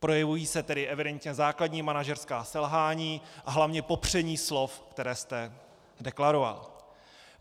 Projevují se tady evidentně základní manažerská selhání a hlavně popření slov, která jste deklaroval.